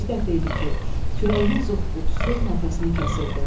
Birinci dəfə idi ki, kürəyinin zoqqultusu nəfəsini kəsirdi.